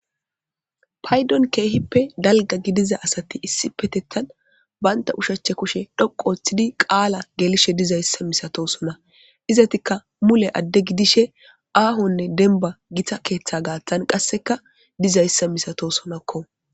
paydon keehippe dalga gidiza asati issipetettan banta ushache kushe dhoqu ooththidi qaala gelishe dizayssa misatosona izatikka mule adde gidishe aahonne denba gita keeththa gaathtan qasseka dizayssa misato sonakko